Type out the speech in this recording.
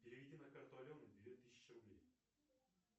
переведи на карту алены две тысячи рублей